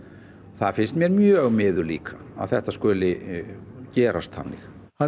það finnst mér mjög miður líka að þetta skuli gerast þannig hann